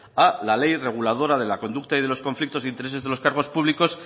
a la ley reguladora de la conducta y de los conflictos de intereses de los cargo públicos